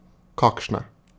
Kakšne?